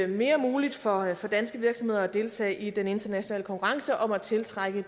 mere muligt for for danske virksomheder at deltage i den internationale konkurrence om at tiltrække